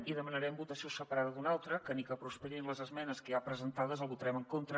i demanarem votació separada d’un altre que ni que prosperin les esmenes que hi ha presentades el vota·rem en contra